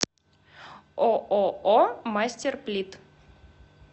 ооо мастерплит